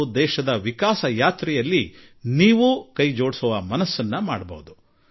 ಜೊತೆಗೆ ನಿಮ್ಮ ಮನಸ್ಸನ್ನು ಸಿದ್ಧಮಾಡಿಕೊಂಡು ಮತ್ತು ರಾಷ್ಟ್ರದ ಪ್ರಗತಿಗೆ ನಿಮ್ಮದೇ ಕಾಣಿಕೆಯನ್ನೂ ನೀಡಬಹುದು